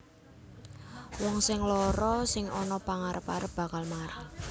Wong sing lara sing ana pangarep arep bakal mari